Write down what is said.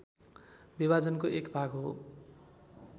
विभाजनको एक भाग हो